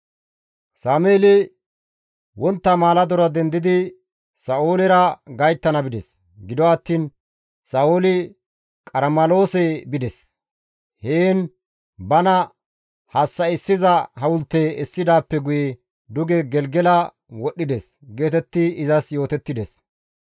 Sameeli wontta maaladora dendidi Sa7oolera gayttana bides; gido attiin, «Sa7ooli Qarmeloose bides; heen bana hassa7issiza hawulte essidaappe guye duge Gelgela wodhdhides» geetetti izas yootettides.